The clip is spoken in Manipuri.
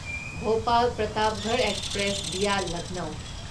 Bhopal Pratapgarh express via Lucknow